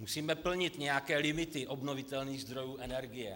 Musíme plnit nějaké limity obnovitelných zdrojů energie.